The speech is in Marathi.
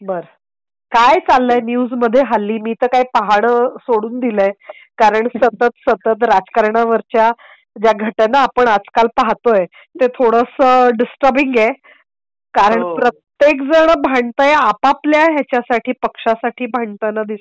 बरं! काय चाललंय न्यूज मध्ये हल्ली मी तर काय पहान सोडून दिले आहे. कारण सतत सतत राजकारणा वरच्या ज्या घटना आपण आजकाल पाहतो आहे ते थोडंसं डिस्टर्बिंग आहे कारण प्रत्येक जण भंडतय आपापल्या यासाठी ,पक्षासाठी भांडताना दिसतय .